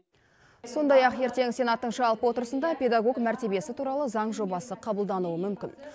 сондай ақ ертең сенаттың жалпы отырысында педагог мәртебесі туралы заң жобасы қабылдануы мүмкін